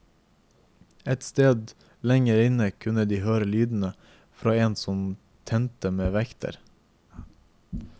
Et sted lenger inne kunne de høre lydene fra en som trente med vekter.